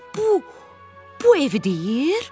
Bu... bu evi deyil?